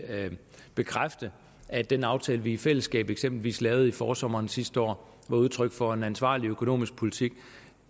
bekræfte at den aftale vi i fællesskab eksempelvis lavede i forsommeren sidste år var udtryk for en ansvarlig økonomisk politik